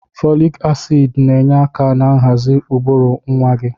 Fọlịk asiidi na-enye aka na nhazi ụbụrụ nwa gị.